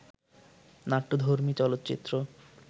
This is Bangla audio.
নাট্যধর্মী চলচ্চিত্র